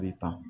Bɛ ban